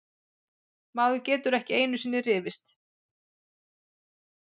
Maður getur ekki einusinni rifist!